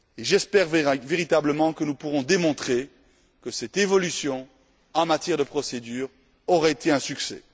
J'espère véritablement que nous pourrons démontrer que cette évolution, en matière de procédure, aura été un succès.